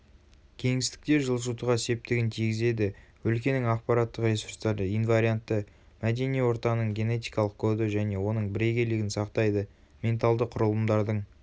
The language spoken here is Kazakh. кеңістікте жылжытуға септігін тигізеді өлкенің ақпараттық ресурстары инвариантты мәдени ортаның генетикалық коды және оның бірегейлігін сақтайды менталды құрылымдардың